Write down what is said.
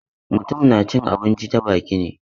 Mutum na cin abinci ta baki ne.